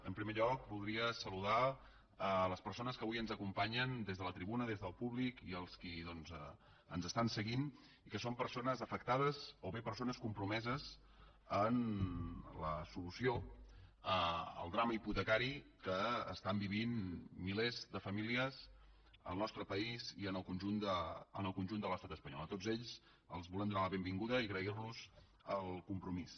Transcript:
en primer lloc voldria saludar les persones que avui ens acompanyen des de la tribuna des del públic i els qui ens estan seguint i que són persones afectades o bé persones compromeses en la solució al drama hipotecari que viuen milers de famílies en el nostre país i en el conjunt de l’estat espanyol a tots ells els volem donar la benvinguda i agrair los el compromís